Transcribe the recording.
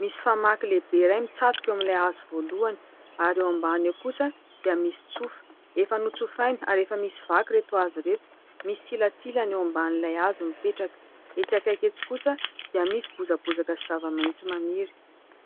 Misy famaky lehibe iray mitsatoka eo amin'ilay hazo voalohany, ary eo ambany eo kosa dia misy tsofa. Efa notsofaina ary efa misy vaky ireto hazo ireto. Misy silantsilany eo ambanin'ilay hazo mipetraka. Etsy akaiky etsy kosa dia misy bozabozaka sy zava-maitso maniry.